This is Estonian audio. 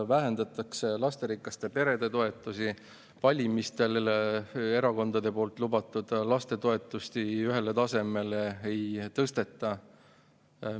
Vähendatakse lasterikaste perede toetusi, lastetoetusi ühele tasemele ei tõsteta, kuigi valimistel erakonnad seda lubasid.